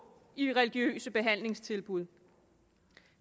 i religiøse behandlingstilbud